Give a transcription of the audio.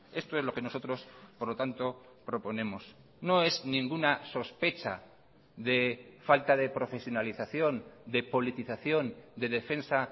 esto es lo que nosotros por lo tanto proponemos no es ninguna sospecha de falta de profesionalización de politización de defensa